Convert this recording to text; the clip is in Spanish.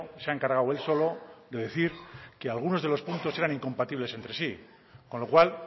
se ha encargado él solo de decir que algunos de los puntos eran incompatibles entre sí con lo cual